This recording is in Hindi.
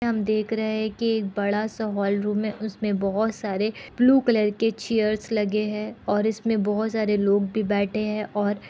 हम देख रहे है कि एक बड़ा सा हॉल रूम है उसमें बहोत सारे ब्लू कलर के चेयर्स लगे है और इसमें बहोत सारे लोग भी बैठे है और --